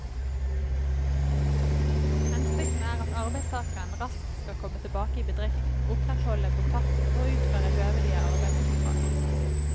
Hensikten er at arbeidstakeren raskt skal komme tilbake i bedriften, opprettholde kontakten og utføre høvelige arbeidsoppdrag.